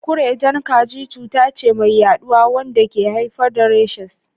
Kurejen kaji cuta ce mai yaduwa wanda ke haifar da rashes.